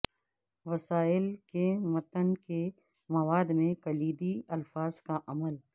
وسائل کے متن کے مواد میں کلیدی الفاظ کا عمل